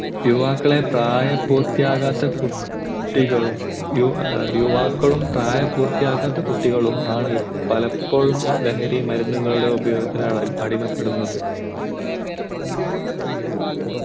യുവാക്കളെ പ്രായപൂത്തിയാകാത്ത കുട്ടികളും യുവാക്കളും പ്രായപൂർത്തിയാകാത്ത കുട്ടികളുമാണ് പലപ്പോഴും ലഹരി മരുന്നിന് ഉപയോഗത്തിന് അടിമപ്പെടുന്നത്